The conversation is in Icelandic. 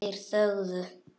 Þeir þögðu.